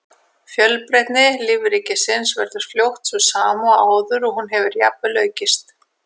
Fjölbreytni lífríkisins verður fljótt sú sama og áður og hún getur jafnvel aukist.